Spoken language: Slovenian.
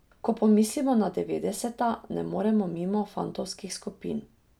Ko pomislimo na devetdeseta, ne moremo mimo fantovskih skupin.